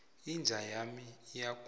inja yami iyagula